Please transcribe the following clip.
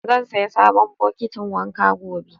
Zan saya sabon bokitin wanka gobe.